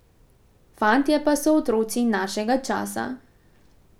Fantje pa so otroci našega časa.